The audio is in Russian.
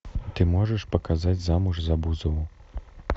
ты можешь показать замуж за бузову